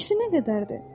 Çəkisi nə qədərdir?